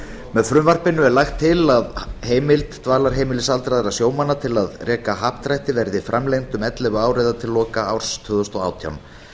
með frumvarpinu er lagt til að heimild dvalarheimilis aldraðra sjómanna til að reka happdrætti verði framlengd um ellefu ár eða til loka árs tvö þúsund og átján